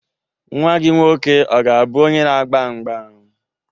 Nwa gị nwoke ọ ga-abụ onye na-agba mgba?